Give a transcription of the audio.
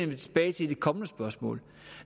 jeg tilbage til i de kommende spørgsmål